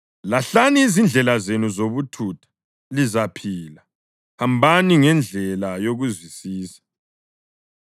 Lahlani izindlela zenu zobuthutha lizaphila; hambani ngendlela yokuzwisisa.”